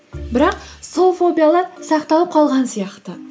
бірақ сол фобиялар сақталып қалған сияқты